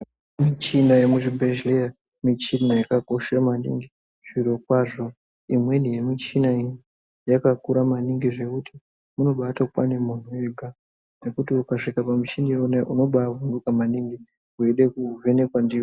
Muchina yemuzvibhedhleya michina yakakosha maningi. Zvirokwazvo imweni yemuchina iyi yakakura maningi zvekuti inobatokwane munhu ega. Zvekuti ukasvika pamuchini iyona iyo unobaavhunduka maningi weida kuvhenekwa ndiyo